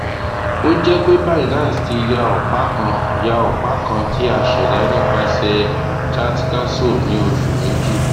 o jẹ pe binance ti ya ọpa kan ya ọpa kan ti a ṣẹda nipasẹ chatcasso ni oṣu meji